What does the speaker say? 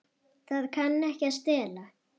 Það kann ekki að stela.